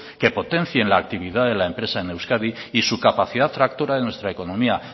que potencien la actividad de la empresa en euskadi y su capacidad tractora de nuestra economía